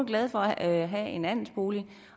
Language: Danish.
glade for at have en andelsbolig